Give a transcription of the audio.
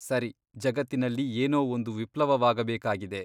ಸರಿ ಜಗತ್ತಿನಲ್ಲಿ ಏನೋ ಒಂದು ವಿಪ್ಲವವಾಗಬೇಕಾಗಿದೆ.